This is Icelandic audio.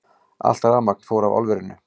Allt rafmagn fór af álverinu